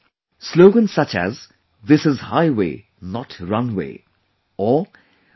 Slogans such as 'This is highway not runway' or 'Be Mr